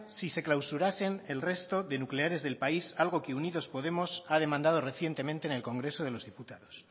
si se clausurasen el resto de nucleares del país algo que unidos podemos ha demandado recientemente en el congreso de los diputados